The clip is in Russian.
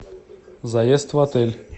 заезд в отель